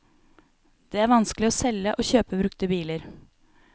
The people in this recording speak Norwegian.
Det er vanskelig å selge og kjøpe brukte biler.